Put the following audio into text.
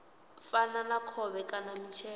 fana na khovhe kana mitshelo